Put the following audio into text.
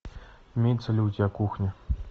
имеется ли у тебя кухня